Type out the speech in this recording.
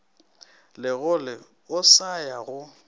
segole o sa ya go